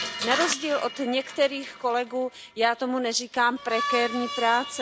Na rozdíl od některých kolegů já tomu neříkám prekérní práce.